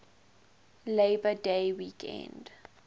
labor day weekend